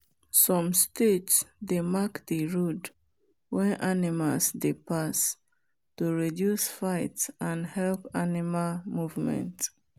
some state they mark the road when animals dey pass to reduce fight and help animal movement.